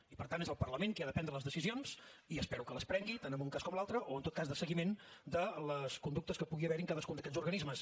i per tant és el parlament qui ha de prendre les decisions i espero que les prengui tant en un cas com l’altre o en tot cas de seguiment de les conductes que pugui haver hi en cadascun d’aquests organismes